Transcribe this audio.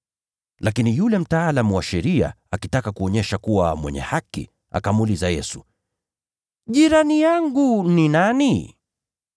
Lakini yule mtaalamu wa sheria, akitaka kujionyesha kuwa mwenye haki, akamuuliza Yesu, “Jirani yangu ni nani?”